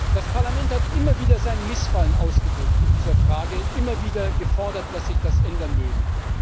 Das Parlament hat immer wieder sein Missfallen ausgedrückt in dieser Frage, immer wieder gefordert, dass sich das ändern möge.